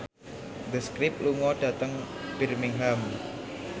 The Script lunga dhateng Birmingham